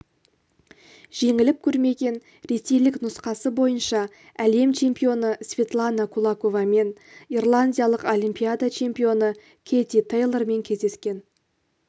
жеңіліп көрмеген ресейлік нұсқасы бойынша әлем чемпионы светлана кулаковамен ирландиялық олимпиада чемпионы кэти тейлормен кездескен